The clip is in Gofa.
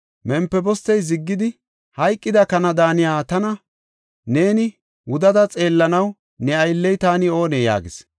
Mempibostey ziggidi, “Hayqida kana daaniya tana neeni wudada xeellanaw ne aylley taani oonee?” yaagis.